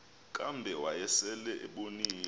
kambe wayesel ebonile